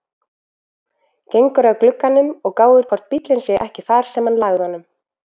Gengur að glugganum og gáir hvort bíllinn sé ekki þar sem hann lagði honum.